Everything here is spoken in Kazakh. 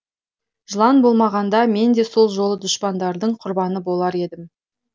жылан болмағанда мен де сол жолы дұшпандардың құрбаны болар едім